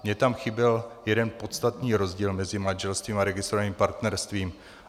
Mně tam chyběl jeden podstatný rozdíl mezi manželstvím a registrovaným partnerstvím.